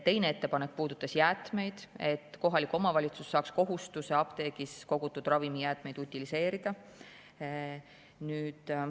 Teine ettepanek puudutas jäätmeid, et kohalik omavalitsus saaks kohustuse apteegis kogutud ravimijäätmeid utiliseerida.